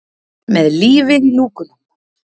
Með lífið í lúkunum!